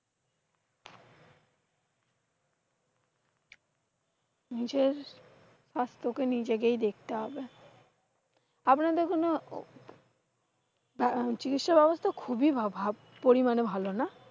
নিজের স্বাস্থ্য কি নিজেকেই দেখতে হবে। আপনাদের কোন আহ চিকিৎসা ব্যবস্থা খুবই পরিমানে ভালো না?